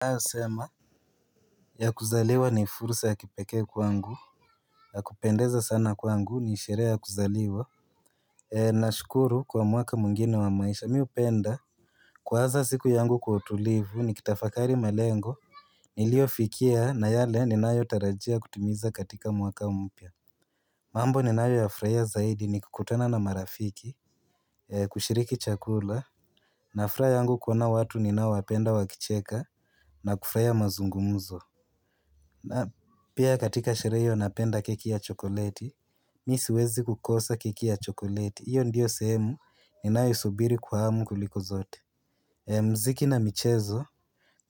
Nayosema. Ya kuzaliwa ni fursa ya kipekee kwangu. Ya kupendeza sana kwangu ni sheree ya kuzaliwa. Nashukuru kwa mwaka mwingine wa maisha miupenda. Kwa haza siku yangu kwa utulivu nikitafakari malengo. Niliofikia na yale ninayo tarajia kutimiza katika mwaka mpya. Mambo ninayo ya fraia zaidi ni kukutana na marafiki. Kushiriki chakula na fraha yangu kuona watu ninaowapenda wakicheka na kufraia mazungumuzo. Na pia katika sheree iyo napenda keki ya chokoleti, mi siwezi kukosa keki ya chokoleti. Iyo ndiyo sehemu ninayoisubiri kwa hamu kuliko zote. Mziki na michezo,